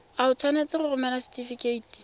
o tshwanetse go romela setefikeiti